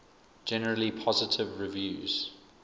generally positive reviews